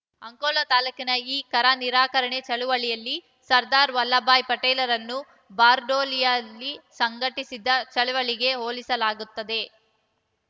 ಅಂಕೋಲಾ ತಾಲೂಕಿನ ಈ ಕರನಿರಾಕರಣೆ ಚಳವಳಿಯನ್ನು ಸರ್ದಾರ್‌ ವಲ್ಲಭಭಾಯಿ ಪಟೇಲರು ಬಾರ್ಡೋಲಿಯಲ್ಲಿ ಸಂಘಟಿಸಿದ ಚಳವಳಿಗೆ ಹೋಲಿಸಲಾಗುತ್ತದೆ